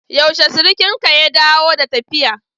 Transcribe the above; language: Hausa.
Yaushe surukinka ya dawo da tafiya?